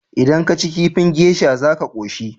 Idan kaci kifin geisha za ka koshi?